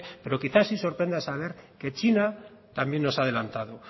pero quizá si sorprenda saber que china también nos ha adelantado